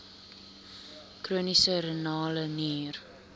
chroniese renale nier